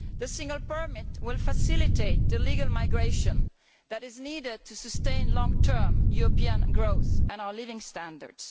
The single permit will facilitate the legal migration that is needed to sustain long term European growth and our living standards.